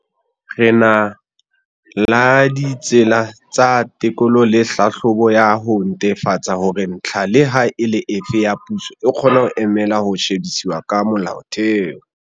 Re na la ditsela tsa tekolo le tlhahlobo ya ho netefatsa hore ntlha leha e le efe ya puso e kgona ho emela ho shebisiswa ha molaotheo.